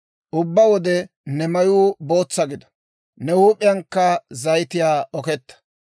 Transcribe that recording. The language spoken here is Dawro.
Ubbaa wode ne mayuu bootsa gido; ne huup'iyankka zayitiyaa oketa.